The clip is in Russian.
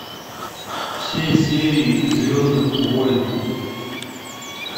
все серии звездных войн